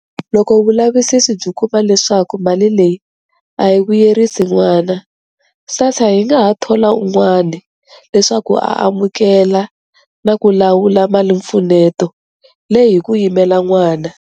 Loko vulavisisi byi kuma leswaku mali leyi a yi vuyerisi n'wana, SASSA yi nga ha thola un'wana leswaku a amukela na ku lawula malimpfuneto leyi hi ku yimela n'wana.